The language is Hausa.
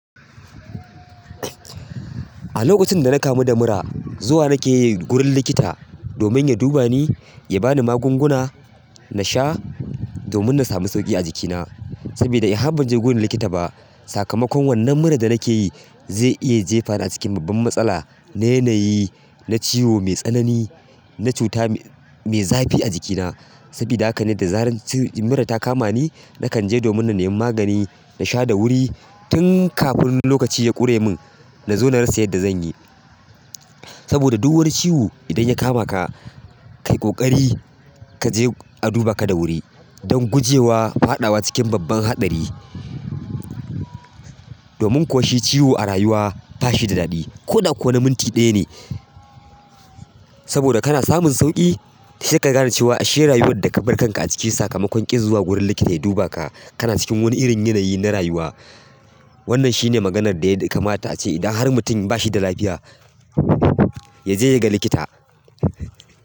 A lokacin da na kamu da mura, zuwa nake yi wurin likita domin ya duba ni, ya ba ni magunguna na sha domin na sami sauƙi a jikina. Saboda in har ban je wurin likita ba, sakamakon wannan mura da nake yi zai iya jefa ni a cikin babban matsala na yanayi, na ciwo mai tsanani, na cuta mai zafi a jikina. Sabida haka ne da zarar mura ta kama ni, na kan je domin na nemi magani, na sha da wuri tun kafin lokaci ya ƙure min na zo na rasa yadda zan yi. Saboda duk wani ciwo idan ya kama ka, kai ƙoƙari ka je a duba ka da wuri don gujewa faɗawa cikin babban haɗari. Domin ƙoshi ciwo a rayuwa ba shi da daɗi. Kodako na minti ɗaya ne saboda kana samun sauƙi sai kagane cewa ashe rayuwan da kabar kanka aciki sakamakon kin zuwa guri likita yadubaka kana ciki wani irin yanayi na rayuwa. Wannan shine maganar da ya kamata ace idan har mutum ba shi da lafiya, ya je ya ga likita.